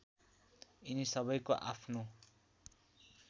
यिनी सबैको आफ्नो